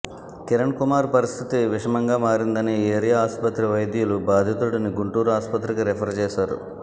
కిరణ్ కుమార్ పరిస్థితి విషమంగా మారిందని ఏరియా ఆసుపత్రి వైద్యులు బాధితుడిని గుంటూరు ఆసుపత్రికి రిఫర్ చేశారు